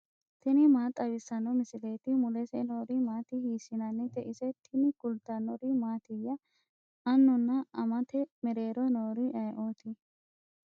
tini maa xawissanno misileeti ? mulese noori maati ? hiissinannite ise ? tini kultannori mattiya? annunna amatte mereerro noori ayiootti?